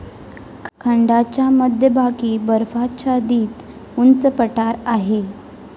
खंडाच्या मध्यभागी बर्फाच्छादित उंच पठार आहे.